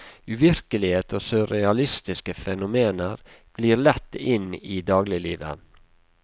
Uvirkelighet og surrealistiske fenomener glir lett inn i dagliglivet.